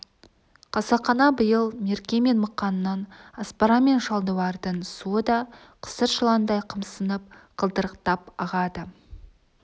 қасақана биыл мерке мен мықанның аспара мен шалдуардың суы да қысыр жыландай қымсынып қылдырықтап ағады